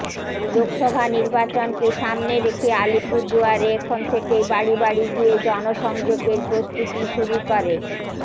লোকসভা নির্বাচনকে সামনে রেখে আলিপুরদুয়ারে এখন থেকেই বাড়ি বাড়ি গিয়ে জনসংযোগের প্রস্তুতি শুরু করে